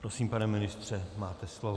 Prosím, pane ministře, máte slovo.